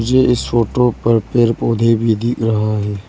मुझे इस फोटो पर पेड़ पौधे भी दिख रहा है।